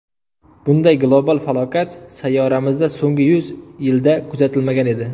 Bunday global falokat sayyoramizda so‘nggi yuz yilda kuzatilmagan edi.